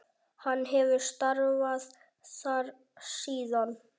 Hann hefur starfað þar síðan.